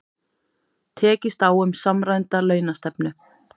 Tekist á um samræmda launastefnu